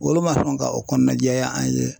Olu ma sɔn ka o kɔnɔna jɛya an ye